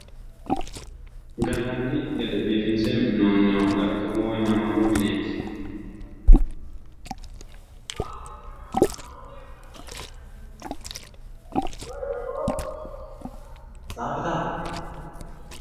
Gallanni gede biiffinse mi'ninoonni galtoommu woy manooru mineeti